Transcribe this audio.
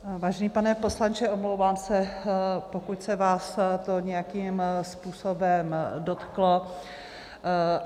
Vážený pane poslanče, omlouvám se, pokud se vás to nějakým způsobem dotklo.